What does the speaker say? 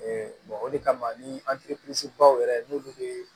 o de kama ni baw yɛrɛ n'ulu be